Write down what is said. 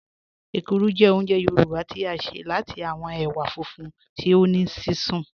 Èkúrú jẹ́ ọ̀únjẹ̀ Yorùbá tí a ṣẹ̀ láti awọn èwà fúnfún tí o ní sísún